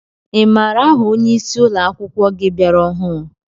I maara aha ónyé ịsị ụlọakwụkwọ gị bịara ọhụrụ?